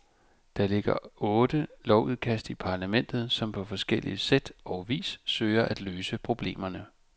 Der ligger otte lovudkast i parlamentet, som på forskellig sæt og vis søger at løse problemerne.